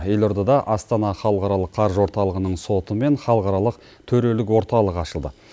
елордада астана халықаралық қаржы орталығының соты мен халықаралық төрелік орталығы ашылды